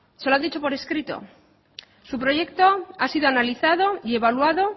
se lo han dicho por escrito su proyecto ha sido analizado y evaluado